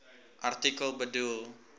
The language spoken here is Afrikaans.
artikel bedoel